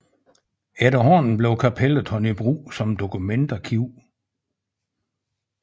Efterhånden blev kapellet taget i brug som dokumentarkiv